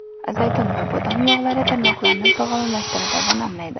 Zaytun va bodom yog‘lari – tirnoqlarni sog‘lomlashtiradi va namlaydi.